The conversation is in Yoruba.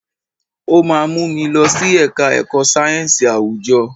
O máa mú mi lọ sí ẹ̀ka ẹ̀kọ́ sáyẹ̀nsì àwùjọ.